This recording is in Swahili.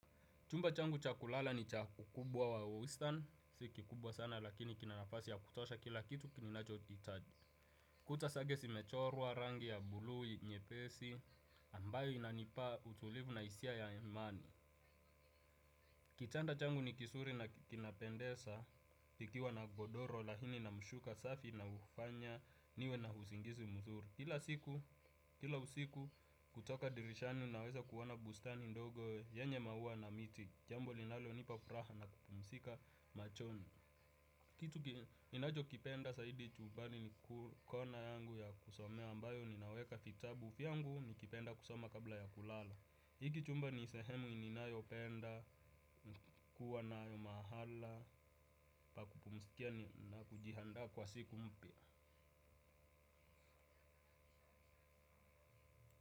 Chumba changu cha kulala ni cha ukubwa wa wastan, si kikubwa sana lakini kina nafasi ya kutosha kila kitu ki ninachohitaji. Kuta zake zimechorwa rangi ya buluu, nyepesi, ambayo inanipa utulivu na hisia ya amani. Kitanda changu ni kizuri na kinapendeza, ikiwa na godoro lakini na mshuka safi na ufanya niwe na usingisi mzuri. Kila usiku kutoka dirishani naweza kuona bustani ndogo yenye maua na miti. Jambo linalonipa furaha na kupumzika machoni. Kitu ninachokipenda zaidi chumbani ni kona yangu ya kusomea ambayo ninaweka vitabu vyangu nikipenda kusoma kabla ya kulala. Hiki chumba ni sehemu ninayopenda, kuwa nayo mahala pa kupumzikia na kujiandaa kwa siku mpya.